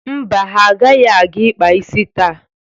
Mba, ha agaghị aga ịkpa isi taa.